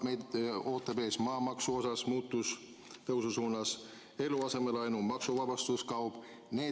Meid ootab ees maamaksu tõus, eluasemelaenu maksuvabastuse kadumine.